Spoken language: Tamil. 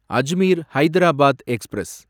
அஜ்மீர் ஹைதராபாத் எக்ஸ்பிரஸ்